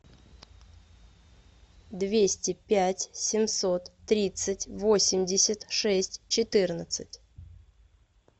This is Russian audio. двести пять семьсот тридцать восемьдесят шесть четырнадцать